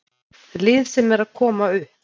Lið sem er að koma upp.